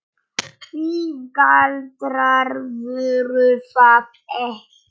Því galdrar voru það ekki.